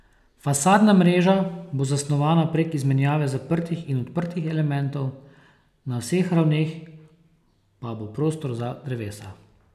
Fasadna mreža bo zasnovana prek izmenjave zaprtih in odprtih elementov, na vseh ravneh pa bo prostor za drevesa.